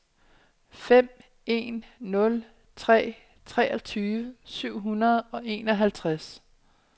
fem en nul tre treogtyve syv hundrede og enoghalvtreds